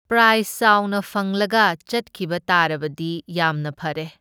Price ꯆꯥꯎꯅ ꯐꯪꯂꯒ ꯆꯠꯈꯤꯕ ꯇꯥꯔꯕꯗꯤ ꯌꯥꯝꯅ ꯐꯔꯦ꯫